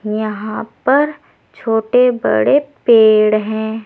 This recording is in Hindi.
यहां पर छोटे बड़े पेड़ हैं।